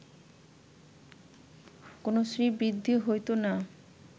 কোন শ্রীবৃদ্ধি হইত না